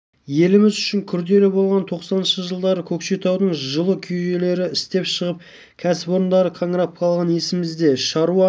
еліміз үшін күрделі болған тоқсаныншы жылдары көкшетаудың жылу жүйелері істен шығып кәсіпорындары қаңырап қалғаны есімізде шаруа